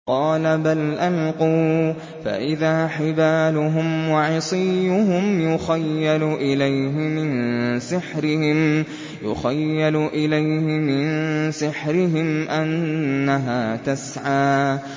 قَالَ بَلْ أَلْقُوا ۖ فَإِذَا حِبَالُهُمْ وَعِصِيُّهُمْ يُخَيَّلُ إِلَيْهِ مِن سِحْرِهِمْ أَنَّهَا تَسْعَىٰ